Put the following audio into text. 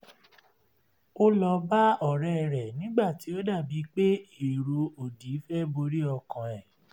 ó lọ bá ọ̀rẹ́ rẹ̀ nígbà tí ó dà bí pé èrò òdì fẹ́ borí ọkàn ẹ̀